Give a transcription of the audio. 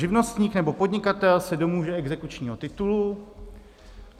Živnostník nebo podnikatel se domůže exekučního titulu.